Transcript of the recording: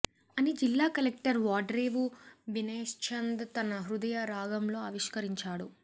అని జిల్లా కలెక్టర్ వాడ్రేవు వినయ్చంద్ తన హృదయ రాగంలో ఆవిష్కరించారు